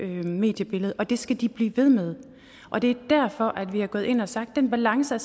mediebillede og det skal de blive ved med og det er derfor vi er gået ind og har sagt at den balance